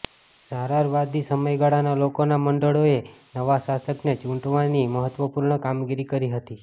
ઝારારવાદી સમયગાળાના લોકોના મંડળોએ નવા શાસકને ચૂંટવાની મહત્ત્વપૂર્ણ કામગીરી કરી હતી